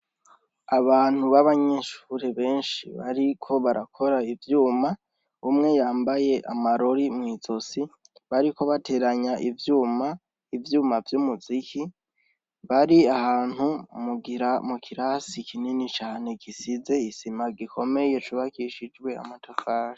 Abantu b'abanyinshure benshi bariko barakora ivyuma umwe yambaye amarori mw'izosi bariko bateranya ivyuma ivyuma vy'umuziki bari ahantu mugira mu kirasi kinini cane gisize isima gikomeye cubakishijwe amatokari.